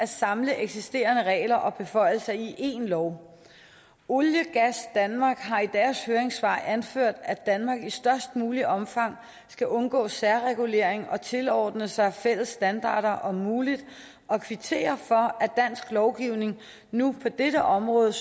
at samle eksisterende regler og beføjelser i én lov olie gas danmark har i deres høringssvar anført at danmark i størst muligt omfang skal undgå særregulering og tilordne sig fælles standarder om muligt og kvitterer for at dansk lovgivning nu på dette område